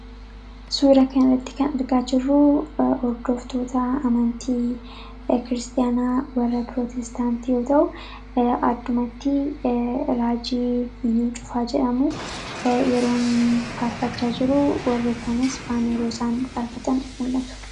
suura kan iratti kan argaa jirruu hordooftoota amantii kiristiyaanaa warra pirootestaant yoo ta'u addumatti raajii iyuu cufaa jedhamu yeroo inni faarfachaa jiruu warri kanis faaneerosaan farfatan mul'atu